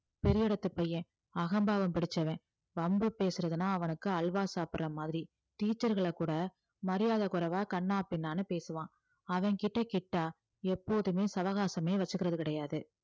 பெரிய இடத்து பையன் அகம்பாவம் பிடிச்சவன் வம்பு பேசுறதுன்னா அவனுக்கு அல்வா சாப்பிடுற மாதிரி teacher களை கூட மரியாதை குறைவா கன்னாபின்னான்னு பேசுவான் அவன்கிட்ட கிட்டா எப்போதுமே சவகாசமே வச்சுக்கிறது கிடையாது